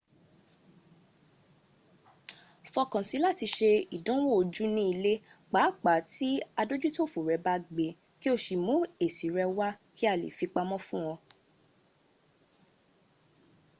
fọkàn sí i láti ṣe ìdánwò ojú ní ilé pàápàá tí adójútòfò rẹ bá gbé e kí o mú èsì rẹ wá kí a lè fi pamọ́ fún